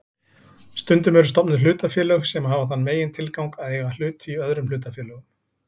Stundum eru stofnuð hlutafélög sem hafa þann megintilgang að eiga hluti í öðrum hlutafélögum.